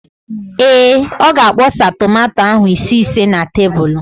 Ee, ọ ga-akpọsa tomanto ahụ ise ise na tebulu.